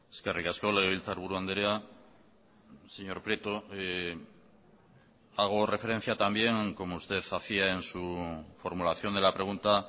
eskerrik asko legebiltzarburu andrea señor prieto hago referencia también como usted hacía en su formulación de la pregunta